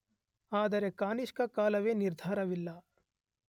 ಆದರೆ ಕಾನಿಷ್ಕನ ಕಾಲವೇ ನಿರ್ಧಾರವಿಲ್ಲ